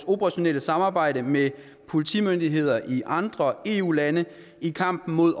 operationelle samarbejde med politimyndigheder i andre eu lande i kampen mod